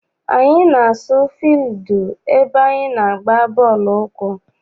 Anyị na-asu fildu ebe anyị na-agba bọọlụ ụkwụ.